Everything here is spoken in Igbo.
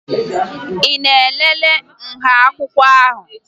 Ị na-elele nha akwụkwọ ahụ?